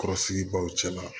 Kɔrɔsigi baw cɛ la